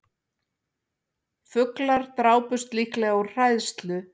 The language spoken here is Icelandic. Fuglar drápust líklega úr hræðslu